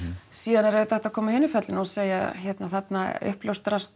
síðan er auðvitað hægt að koma af hinu fjallinu og segja þarna